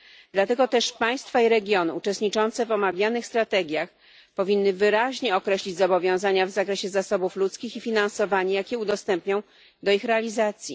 Dlatego też państwa i regiony uczestniczące w omawianych strategiach powinny wyraźnie określić zobowiązania w zakresie zasobów ludzkich i finansowanie, jakie udostępnią na ich realizację.